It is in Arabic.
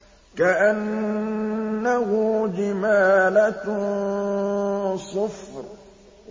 كَأَنَّهُ جِمَالَتٌ صُفْرٌ